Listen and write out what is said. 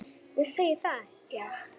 Þið segið það, já.